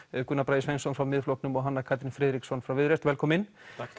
Gunnar Bragi Sveinsson frá Miðflokknum og Hanna Katrín Friðriksson frá Viðreisn velkomin